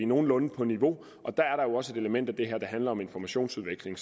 nogenlunde på niveau og der er der jo også et element i det her der handler om informationsudveksling